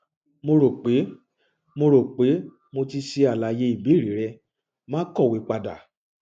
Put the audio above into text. mo rope mo rope mo ti ṣe alaye ibeere rẹ maa kọwe pada